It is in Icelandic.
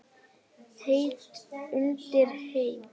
Heitt undir Heimi?